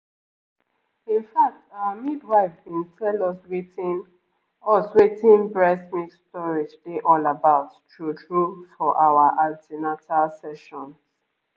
in fact our midwife been tell us wetin us wetin breast milk storage dey all about true-true for our an ten atal sessions